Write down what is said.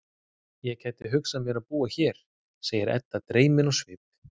Ég gæti hugsað mér að búa hér, segir Edda dreymin á svip.